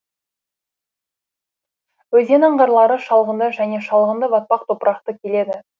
өзен аңғарлары шалғынды және шалғынды батпақ топырақты келеді